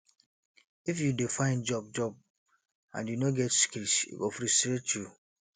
if you dey find job job and you no get skills e go frustrate you